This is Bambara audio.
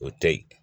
O tɛ ye